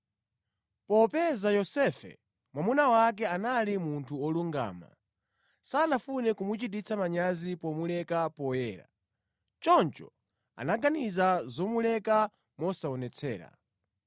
Popeza Yosefe mwamuna wake anali munthu wolungama, sanafune kumuchititsa manyazi pomuleka poyera. Choncho anaganiza zomuleka mosaonetsera.